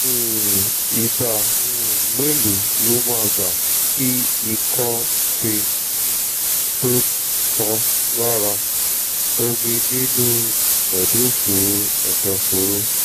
um ìgbà um mélòó ló máa gbà kí ikọ́ fée tó tá lára/ omi nínú u èdòfóró èdòfóró